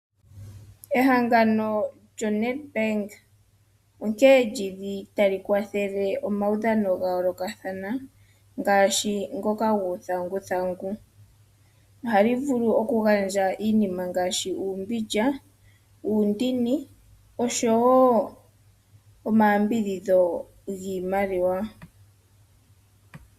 Ehengano lyoNedBank onkene lyi li tali kwathele omaudhano ga yoolokathana ngaashi ngoka guuthanguthangu. Ohali vulu okugandja iinima ngaashi uumbindja, uundini, oshowo omayambidhidho giimaliwa.